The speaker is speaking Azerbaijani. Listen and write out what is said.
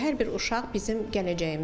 Hər bir uşaq bizim gələcəyimizdir.